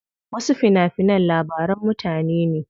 Wasu fina finan labaran mutane ne.